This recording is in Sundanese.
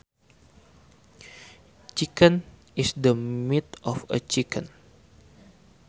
Chicken is the meat of a chicken